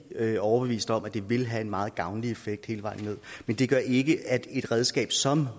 overbeviste om at det vil have en meget gavnlig effekt hele vejen ned men det gør ikke at et redskab som